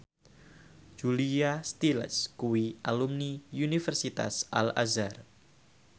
Julia Stiles kuwi alumni Universitas Al Azhar